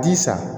Ji san